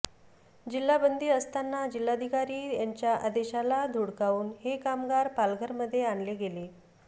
जिल्हा बंदी असताना जिल्हाधिकारी यांच्या आदेशाला धुडकावून हे कामगार पालघरमध्ये आणले गेले